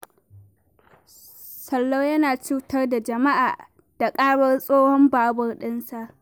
Sallau yana cutar da jama'a da ƙarar tsohon babur ɗinsa